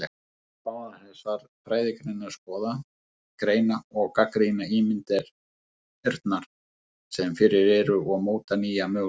Báðar þessar fræðigreinar skoða, greina og gagnrýna ímyndirnar sem fyrir eru og móta nýja möguleika.